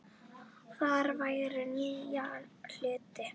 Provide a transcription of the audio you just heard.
Þar lærum við nýja hluti.